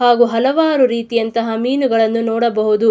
ಹಾಗು ಹಲವಾರು ರೀತಿಯಂಥ ಮೀನುಗಳನ್ನು ನೋಡಬಹುದು.